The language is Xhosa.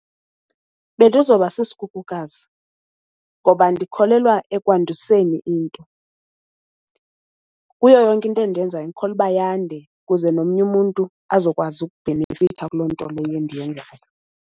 Bendizoba sisikhukukazi ngoba ndikholelwa ekwandiseni into. Kuyo yonke into endiyenzayo ndikholwa uba yande kuze nomnye umuntu azokwazi ukubhenefitha kuloo nto leyo endiyenzayo.